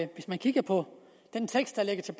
og hvis man kigger på den tekst der ligger til